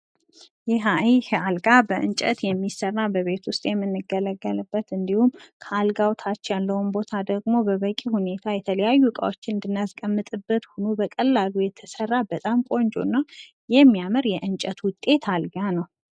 ይሄ አልጋ በእንቀት የሚሰራ በቤት ውስጥ የምንገለገልበት እንዲሁም ከአልጋው ታች ያለውን ቦታ ደሞ በበቂ ሁኔታ የተለያዩ እቃዎችን የምናስቀምጥበት ሁኖ በቀላሉ የተሰራ በጣም ቆንጆና የሚያምር የእንጨት ውጤት አልጋ ነው።